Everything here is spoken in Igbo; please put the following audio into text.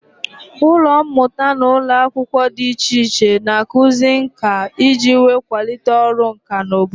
Ụlọ mmụta na ụlọ akwụkwọ dị iche iche n'akuzi ǹkà iji wee kwalite ọrụ ǹkà n'obodo